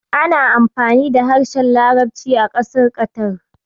Ana amfani da harshen larabci a ƙasar Ƙatar.